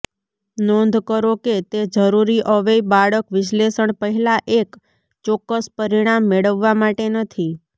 નોંધ કરો કે તે જરૂરી અવેય બાળક વિશ્લેષણ પહેલાં એક ચોક્કસ પરિણામ મેળવવા માટે નથી